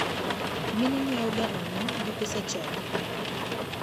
Mine nyiewoga ang'o gi pesa chadi?